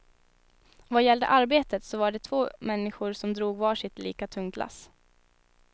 Vad gällde arbetet så var de två människor som drog var sitt lika tungt lass.